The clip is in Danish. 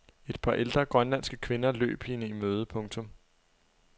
Et par ældre grønlandske kvinder løb hende i møde. punktum